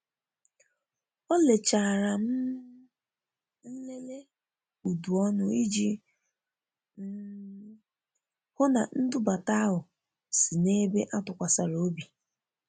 o lechara um nlele udu ọnụ iji um hụ na ndubata ahụ si n'ebe atukwasiri ọbi